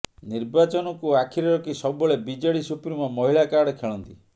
ନିର୍ବାଚନକୁ ଆଖିରେ ରଖି ସବୁବେଳେ ବିଜେଡି ସୁପ୍ରିମୋ ମହିଳା କାର୍ଡ ଖେଳନ୍ତି